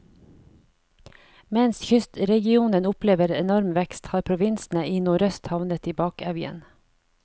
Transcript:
Mens kystregionen opplever enorm vekst, har provinsene i nordøst havnet i bakevjen.